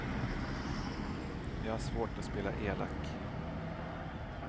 Jag har svårt att spela elak.